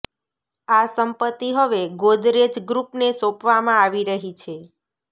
આ સંપત્તિ હવે ગોદરેજ ગ્રુપને સોંપવામાં આવી રહી છે